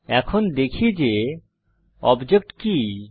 এখন দেখি যে অবজেক্ট কি160